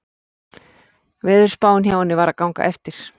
Veðurspáin hjá henni var að ganga eftir.